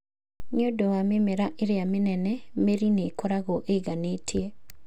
Nĩ ũndũ wa mĩmera ĩrĩa mĩnene, mĩri nĩ ĩkoragwo ĩiganĩtie.